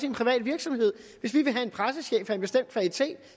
en privat virksomhed hvis vi vil have en pressechef af en bestemt kvalitet